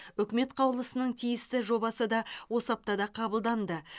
үкімет қаулысының тиісті жобасы да осы аптада қабылданды